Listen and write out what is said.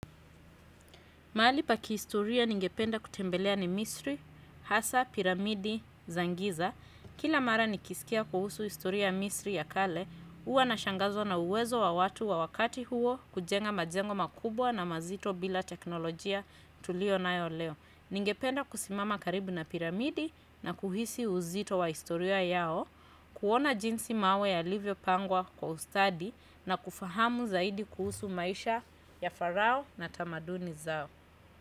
Mahali pakihistoria ningependa kutembelea ni misri, hasa, piramidi, zangiza. Kila mara nikisikia kuhusu historia misri ya kale, huwa nashangazwa na uwezo wa watu wa wakati huo kujenga majengo makubwa na mazito bila teknolojia tulio nayo leo. Ningependa kusimama karibu na piramidi na kuhisi uzito wa historia yao, kuona jinsi mawe yalivyo pangwa kwa ustadi na kufahamu zaidi kuhusu maisha ya farao na tamaduni zao.